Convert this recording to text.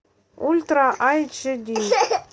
ультра айч ди